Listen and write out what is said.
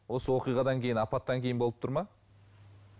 осы оқиғадан кейін апаттан кейін болып тұр ма